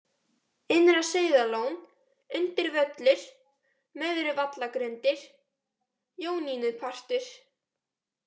Innra-Sauðárlón, Undir-Völlur, Möðruvallagrundir, Jónínupartur